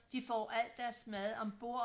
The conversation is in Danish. De får alt deres mad ombord